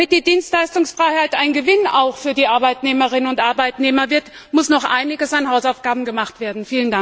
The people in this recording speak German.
Damit die Dienstleistungsfreiheit auch ein Gewinn für die Arbeitnehmerinnen und Arbeitnehmer wird, muss noch einiges an Hausaufgaben gemacht werden.